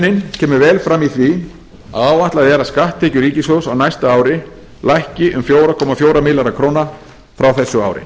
sveiflujöfnunin kemur vel fram í því að áætlað er að skatttekjur ríkissjóðs á næsta ári lækki um fjóra komma fjóra milljarða í krónutölu frá þessu ári